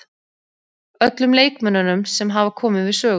Öllum leikmönnunum sem hafa komið við sögu.